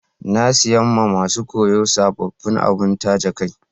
Na siya ma masun koyo sabobin abun taje kai.